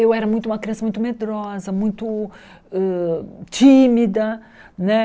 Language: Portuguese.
Eu era muito uma criança muito medrosa, muito hã tímida né.